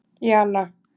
Jana